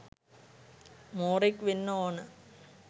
මෝරෙක් වෙන්න ඕන